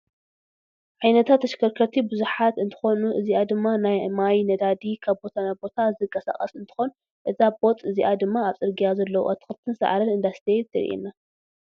ዓይነታት ተሽከርቲ ብዙሓት እንትኮኑ እዚኣ ድማ ናይ ማይ፣ ነዳዲ ካብ ቦታ ናብ ቦታ ዘቃስቅሳ እትኮን እዛ ቦጥ እዚኣ ድማ ኣብ ፅርያ ዘለው ኣትክልትን ሳዕሪን እንዳስተዩ የሪኣና።